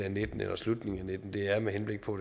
og nitten eller i slutningen af og nitten det er med henblik på